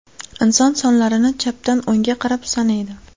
Inson sonlarni chapdan o‘ngga qarab sanaydi.